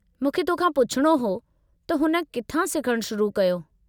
मूंखे तोखां पुछिणो हो त हुन किथां सिखणु शुरु कयो?